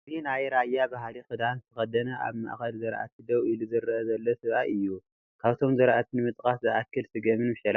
እዚ ናይ ራያ ባህሊ ክዳን ዝተከደነ አብ ማእከል ዝራእቲ ደው ኢሉ ዝረአ ዘሎ ሰብአይ እዩ፡፡ ካብቶም ዝራእቲ ንምጥቃስ ዝአክል ስገምን መሸላን እዮም፡፡